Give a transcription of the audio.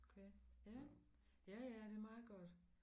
Okay ja ja ja det meget godt